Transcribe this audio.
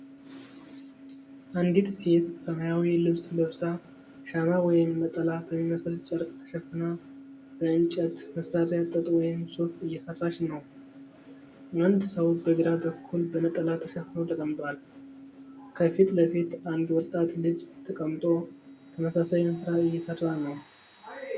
አንዲት ሴት ሰማያዊ ልብስ ለብሳ፣ ሻማ ወይም ነጠላ በሚመስል ጨርቅ ተሸፍና፣ በእንጨት መሳሪያ ጥጥ ወይም ሱፍ እየሰራች ነው። አንድ ሰው በግራ በኩል በነጠላ ተሸፍኖ ተቀምጧል። ከፊት ለፊቷ አንድ ወጣት ልጅ ተቀምጦ ተመሳሳዩን ሥራ እየሰራ ነው።